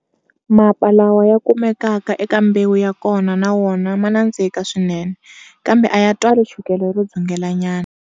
Mapa lawa ya kumekaka eka mbewu ya kona na wona ma nandziha swinene, kambe a ya twali chukele ro dzungelanyana.